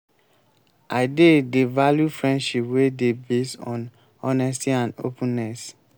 i dey dey value friendship wey dey based on honesty and openness.